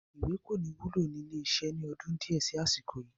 Ìwé kò ní wúlò ni ilé iṣẹ́ ni ọdún di ẹ síí àsìkò yìí